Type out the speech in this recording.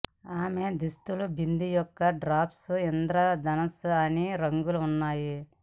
ఆమె దుస్తులు బిందు యొక్క డ్రాప్స్ ఇంద్రధనుస్సు అన్ని రంగులు ఉన్నాయి